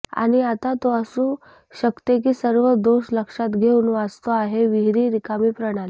आणि आता तो असू शकते की सर्व दोष लक्षात घेऊन वाचतो आहे विहिर रिकामी प्रणाली